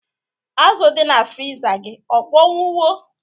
Azụ dị na friza gị akpọnwụwo?